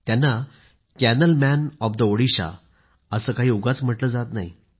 त्यांना canal man of the Odisha असं काही उगाच म्हटलं जात नाही